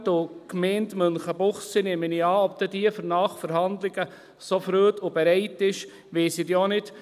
Und ob die Gemeinde Münchenbuchsee dann an Nachverhandlungen so Freude hat und dazu bereit ist, weiss ich auch nicht.